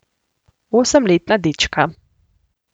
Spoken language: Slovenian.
Osemletna dečka.